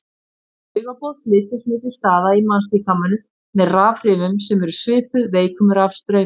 Taugaboð flytjast milli staða í mannslíkamanum með rafhrifum sem eru svipuð veikum rafstraumi.